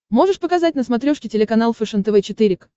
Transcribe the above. можешь показать на смотрешке телеканал фэшен тв четыре к